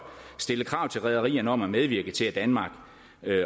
stille krav til rederierne om at medvirke til at danmark